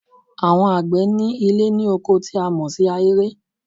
Àwon àgbẹ̀ ní Ilé ní oko tí a mọ̀ sí ahéré